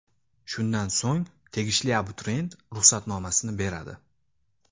Shundan so‘ng tegishli abituriyent ruxsatnomasini beradi.